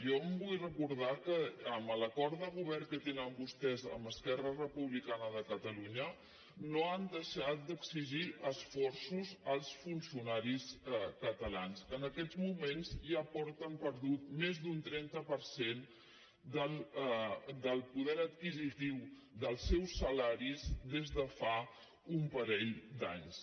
jo vull recordar que amb l’acord de govern que tenen vostès amb esquerra republicana de catalunya no han deixat d’exigir esforços als funcionaris catalans que en aquests moments ja han perdut més d’un trenta per cent del poder adquisitiu dels seus salaris des de fa un parell d’anys